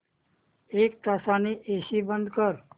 एक तासाने एसी बंद कर